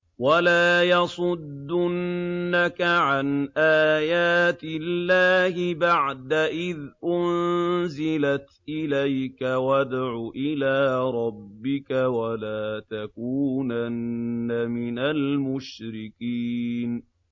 وَلَا يَصُدُّنَّكَ عَنْ آيَاتِ اللَّهِ بَعْدَ إِذْ أُنزِلَتْ إِلَيْكَ ۖ وَادْعُ إِلَىٰ رَبِّكَ ۖ وَلَا تَكُونَنَّ مِنَ الْمُشْرِكِينَ